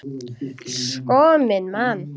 Sko minn mann!